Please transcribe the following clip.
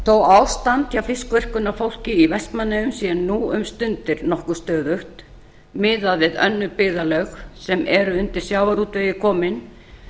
þó ástand hjá fiskverkunarfólki í vestmannaeyjum sé nú um stundir nokkuð stöðugt miðað við önnur byggðarlög sem eru undir sjávarútvegi komin